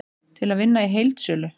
Til að vinna í heildsölu